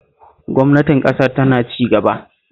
Gwamnatin ƙasar tana cigaba